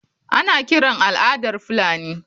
Ana kiran al’adar Fulani.